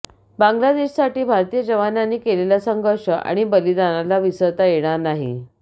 बांगलादेशसाठी भारतीय जवानांनी केलंला संघर्ष आणि बलिदानाला विसरता येणार नाही